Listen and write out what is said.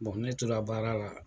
ne tora baara la.